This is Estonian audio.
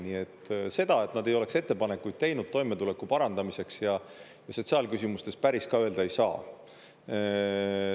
Nii et seda, et nad ei oleks ettepanekuid teinud toimetuleku parandamiseks ja sotsiaalküsimustes, päris ka öelda ei saa.